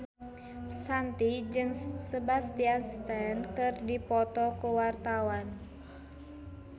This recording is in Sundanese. Shanti jeung Sebastian Stan keur dipoto ku wartawan